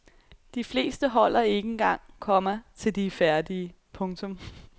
De fleste holder ikke engang, komma til de er færdige. punktum